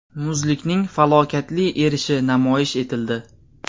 Muzlikning falokatli erishi namoyish etildi.